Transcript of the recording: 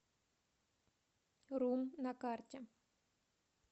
рум на карте